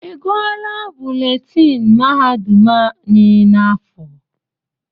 I gụọla buletini mahadum anyị n'afọ?